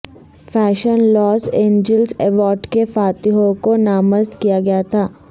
fashion Los Angeles awards کے فاتحوں کو نامزد کیا گیا تھا